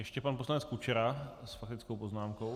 Ještě pan poslanec Kučera s faktickou poznámkou.